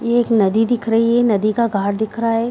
ये एक नदी दिख रही है नदी का घाट दिख रहा है।